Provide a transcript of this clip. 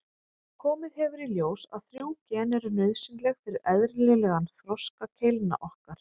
Komið hefur í ljós að þrjú gen eru nauðsynleg fyrir eðlilegan þroska keilna okkar.